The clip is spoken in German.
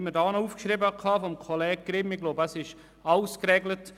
Ich glaube, es ist alles geregelt.